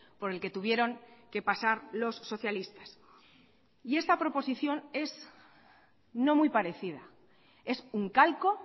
por el que tuvieron que pasar los socialistas y esta proposición es no muy parecida es un calco